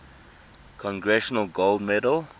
congressional gold medal